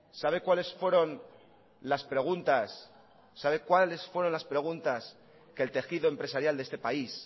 sabes cuáles fueron las preguntas que el tejido empresarial de este país